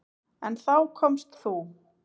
En þá komst þú.